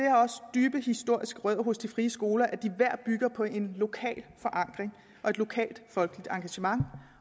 dybe historiske rødder hos de frie skoler at de hver bygger på en lokal forankring og et lokalt folkeligt engagement